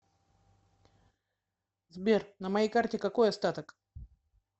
сбер на моей карте какой остаток